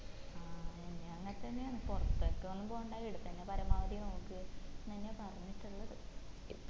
ആ എന്നേം അങ്ങനെ തന്നെ അന്ന് പൊറത്തേക്കൊന്നും പോണ്ട ഈട തന്നെ പരമാവധി നോക്ക് എന്നെന്നേയാ പറഞ്ഞിട്ടുള്ളത്